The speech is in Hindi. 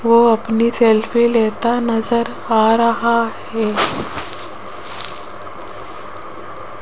वो अपनी सेल्फी लेता नजर आ रहा है।